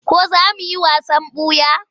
Ko za mu yi wasan ɓuya?